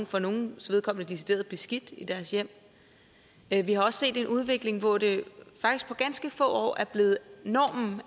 for nogles vedkommende også decideret beskidt i deres hjem vi vi har også set en udvikling hvor det faktisk på ganske få år er blevet normen